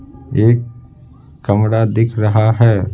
एक कमरा दिख रहा है।